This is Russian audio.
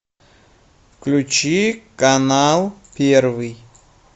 включи канал первый